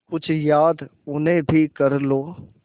कुछ याद उन्हें भी कर लो